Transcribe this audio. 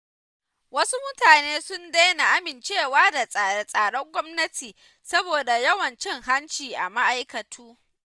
Wasu mutane sun daina amincewa da tsare-tsaren gwamnati saboda yawan cin hanci a ma'aikatu.